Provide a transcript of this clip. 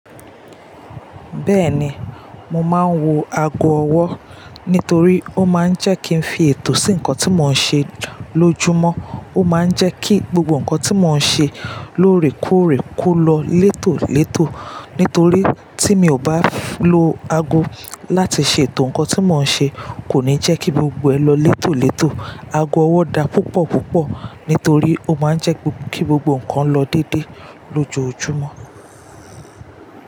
Bẹ́ẹ̀ni, mo máa ń wo ago ọwọ́ nítorí ó máa ń jẹ́ kí ń fi ètò sí nǹkan tí mò ń ṣe lójúmọ́. Ó máa ń jẹ́ kí gbogbo nǹkan tí mò ń ṣe lóòrèkóòrè kó lọ létòlétò. Nítorí tí mi ò bá lo ago láti ṣe ètò nǹkan tí mò ń ṣe kò ní jẹ́ kí gbogbo ẹ lọ létòlétò. Ago ọwọ́ da púpọ̀púpọ̀ nítorí ó máa ń jẹ́ kí gbogbo nǹkan lọ déédéé lójoojúmọ́